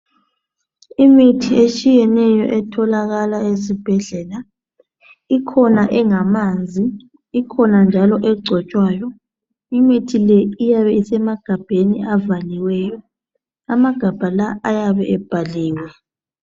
Imithi etshiyeneyo etholakala ezibhedlela ikhona engamanzi ikhona njalo agcotshwayo imithi le iyabe isemagabheni avaliweyo amagabha lawa ayabe ebhaliwe.